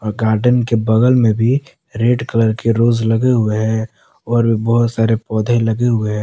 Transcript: Garden के बगल मे भी रेड कलर के रोज़ लगे हुवे हैं और बहुत सारे पौधे लगे हुवे हैं।